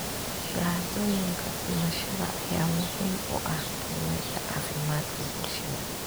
Shahaadooyinka dhimashada ayaa muhiim u ah qiimeynta caafimaadka bulshada.